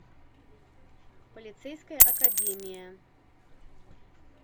полицейская академия